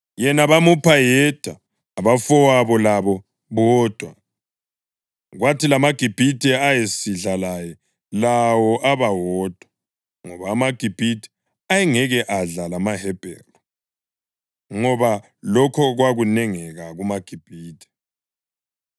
Yena bamupha yedwa, abafowabo labo bodwa, kwathi lamaGibhithe ayesidla laye lawo aba wodwa, ngoba amaGibhithe ayengeke adla lamaHebheru, ngoba lokho kwakunengeka kumaGibhithe.